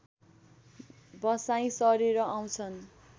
बसाइँ सरेर आउँछन्